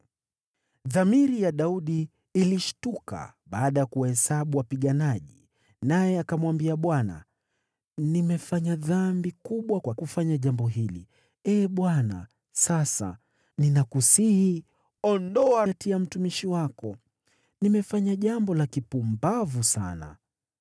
Dhamiri ya Daudi ilishtuka baada ya kuwahesabu wapiganaji, naye akamwambia Bwana , “Nimefanya dhambi kubwa kwa kufanya jambo hili. Ee Bwana , sasa ninakusihi, ondoa hatia ya mtumishi wako. Nimefanya jambo la kipumbavu sana.”